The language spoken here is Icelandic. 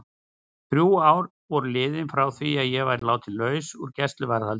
Þrjú ár voru liðin frá því að ég var látin laus úr gæsluvarðhaldinu.